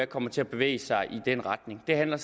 kommer til at bevæge sig i den retning det handler